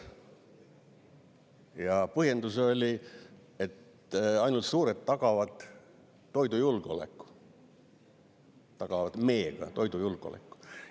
Ja põhjendus oli, et ainult suured tagavad toidujulgeoleku, tagavad meega toidujulgeoleku.